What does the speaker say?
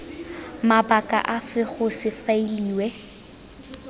mabaka afe go se faeliwe